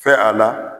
Fɛ a la